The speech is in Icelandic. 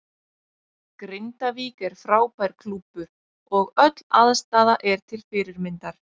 Grindavík er frábær klúbbur og öll aðstaða er til fyrirmyndar.